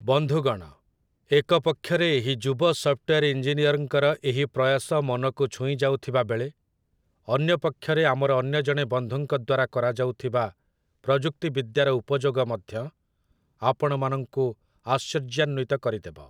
ବନ୍ଧୁଗଣ, ଏକ ପକ୍ଷରେ ଏହି ଯୁବ ସଫ୍ଟୱେୟାର୍ ଇଞ୍ଜିନିୟରଙ୍କର ଏହି ପ୍ରୟାସ ମନକୁ ଛୁଇଁଯାଉଥିବା ବେଳେ, ଅନ୍ୟପକ୍ଷରେ ଆମର ଅନ୍ୟ ଜଣେ ବନ୍ଧୁଙ୍କ ଦ୍ୱାରା କରାଯାଉଥିବା ପ୍ରଯୁକ୍ତିବିଦ୍ୟାର ଉପଯୋଗ ମଧ୍ୟ ଆପଣମାନଙ୍କୁ ଆଶ୍ଚର୍ଯ୍ୟାନ୍ୱିତ କରିଦେବ ।